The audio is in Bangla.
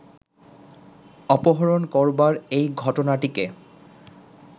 অপহরণ করবার এই ঘটনাটিকে